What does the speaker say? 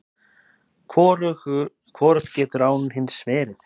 Hvorugt getur án hins verið!